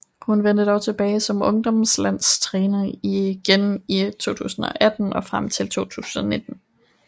Hun vendte dog tilbage som ungdomslandstræner igen i 2018 og frem til 2019